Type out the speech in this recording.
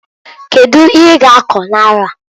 Kedu ihe i g'akọ n'arọ a?